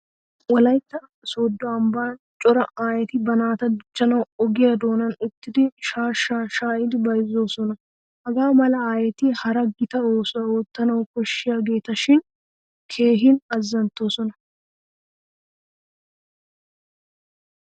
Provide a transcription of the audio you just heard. Wolaytta sooddo ambban cora aayeti ba naata dichchanawu ogiyaa doonan uttidi shaashshaa shaayidi bayzzoosona. Hagaa mala aayeti hara gita oosuwa ootaanawu koshshiyaageetashin keehin azzanttoosona.